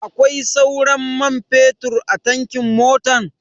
Akwai sauran man fetur a tankin motan?